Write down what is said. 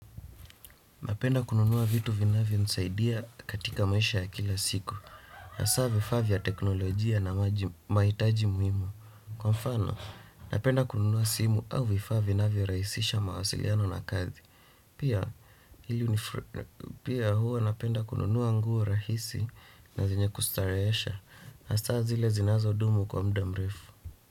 Napenda kununua vitu vinavyo nisaidia katika maisha ya kila siku. Asa vifaa vya teknolojia na mahitaji muhimu. Kwa mfano, napenda kununua simu au vifaa vinavyo rahisisha mawasiliano na kazi. Pia huwa napenda kununua nguo rahisi na zenye kustarehesha. Asa zile zinazo dumu kwa muda mrefu.